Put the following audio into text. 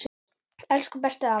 Elsku bestu afi.